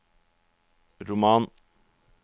roman